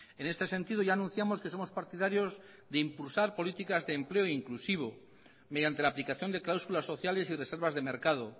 en este sentido ya anunciamos que somos partidarios de impulsar políticas de empleo inclusivo mediante la aplicación de cláusulas sociales y reservas de mercado